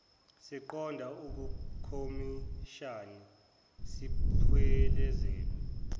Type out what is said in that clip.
siqonde kukhomishani siphelezelwa